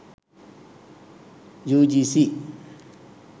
ugc